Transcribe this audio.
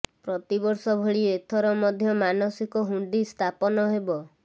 ପ୍ରତିବର୍ଷ ଭଳି ଏଥର ମଧ୍ୟ ମାନସିକ ହୁଣ୍ଡି ସ୍ଥାପନ ହେବ